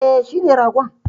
E, shine ragon.